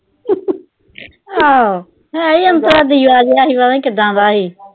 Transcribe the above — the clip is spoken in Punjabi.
ਹਾਂ, ਹੈ ਈ ਇਦਾਂ ਦਾ ਸੀ, ਪਤਾ ਨੀ ਕਿਦਾਂ ਦਾ ਸੀ।